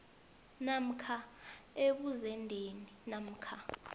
namkha ebuzendeni namkha